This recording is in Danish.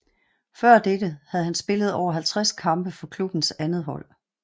Før dette havde han spillet over 50 kampe for klubbens andethold